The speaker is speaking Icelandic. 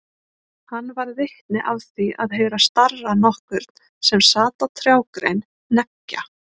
Hann varð vitni af því að heyra starra nokkurn sem sat á trjágrein hneggja.